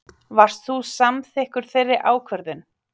Varst þú samþykkur þeirri ákvörðun?